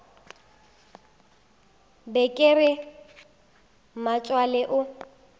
be ke re mmatswale o